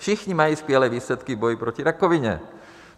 Všichni mají skvělé výsledky v boji proti rakovině.